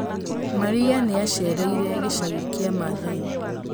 Maria nĩ aacereire gĩcagi kĩa Maathai.